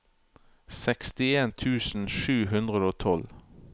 sekstien tusen sju hundre og tolv